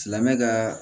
Silamɛmɛ ka